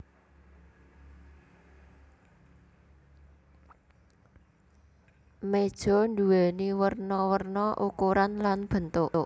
Méja nduwèni werna werna ukuran lan bentuk